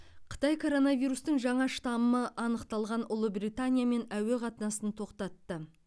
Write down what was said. қытай коронавирустың жаңа штаммы анықталған ұлыбританиямен әуе қатынасын тоқтатты